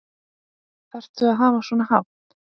Þarftu að hafa svona hátt?